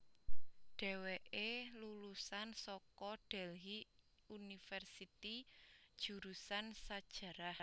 Dheweké lulusan saka Delhy University jurusan sajarah